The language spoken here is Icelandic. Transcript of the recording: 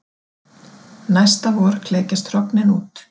Næsta vor klekjast hrognin út.